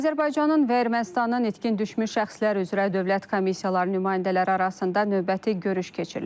Azərbaycanın və Ermənistanın itkin düşmüş şəxslər üzrə dövlət komissiyaları nümayəndələri arasında növbəti görüş keçirilib.